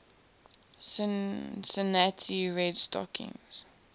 cincinnati red stockings